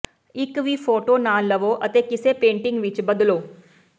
ਇੱਕ ਵੀ ਫੋਟੋ ਨਾ ਲਵੋ ਅਤੇ ਕਿਸੇ ਪੇਂਟਿੰਗ ਵਿੱਚ ਬਦਲੋ